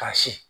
Ka si